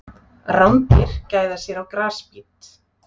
Rándýr gæða sér á grasbít.